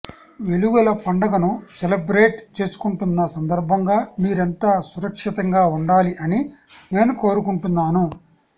వెలుగుల పండుగను సెలబ్రేట్ చేసుకుంటున్న సందర్భంగా మీరంతా సురక్షితంగా ఉండాలి అని నేను కోరుకుంటున్నాను